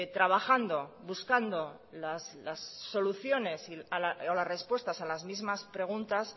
trabajando buscando las soluciones o las respuestas a las mismas preguntas